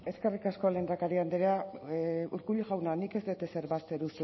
eskerrik asko lehendakari andrea urkullu jauna nik ez dut ezer bazter